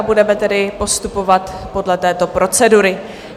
A budeme tedy postupovat podle této procedury.